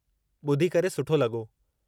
ॿुधी करे सुठो लॻो।